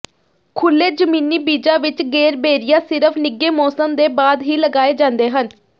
ਖੁੱਲ੍ਹੇ ਜ਼ਮੀਨੀ ਬੀਜਾਂ ਵਿੱਚ ਗੇਰਬੇਰੀਆਂ ਸਿਰਫ ਨਿੱਘੇ ਮੌਸਮ ਦੇ ਬਾਅਦ ਹੀ ਲਗਾਏ ਜਾਂਦੇ ਹਨ